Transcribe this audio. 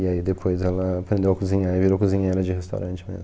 E aí depois ela aprendeu a cozinhar e virou cozinheira de restaurante mesmo.